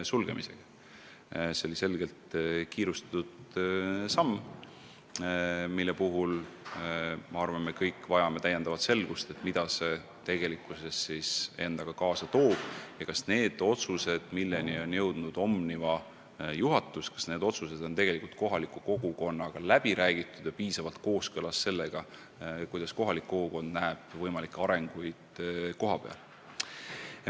Sulgemisotsus oli ilmselgelt kiirustades tehtud ja ma arvan, et me kõik vajame täiendavat selgust, mida see tegelikkuses endaga kaasa tooks ja kas need otsused, milleni on jõudnud Omniva juhatus, on kogukondadega läbi räägitud ja piisavalt kooskõlas sellega, kuidas elanikud näevad arenguid kohapeal.